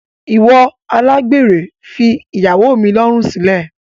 Iwọ alágbèrè fi ìyàwó mi lọrun silẹ!